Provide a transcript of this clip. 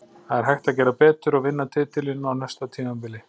Það er hægt að gera betur og vinna titilinn á næsta tímabili.